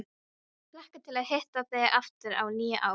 Hlakka til að hitta þig aftur á nýju ári.